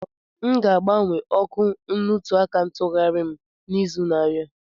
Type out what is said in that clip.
M ga-agbanwe ọkụ nnutuaka ntughari m n'izu na-abịa.